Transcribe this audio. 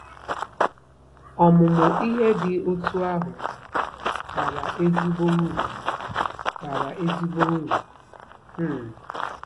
Ọmụmụ ihe dị otú ahụ bara ezigbo uru bara ezigbo uru um.